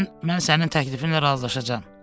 Deyəsən, mən sənin təklifinlə razılaşacağam.